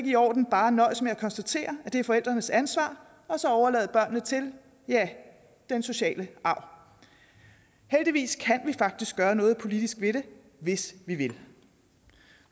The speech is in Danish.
i orden bare at nøjes med at konstatere at det er forældrenes ansvar og så overlade børnene til ja den sociale arv heldigvis kan vi faktisk gøre noget politisk ved det hvis vi vil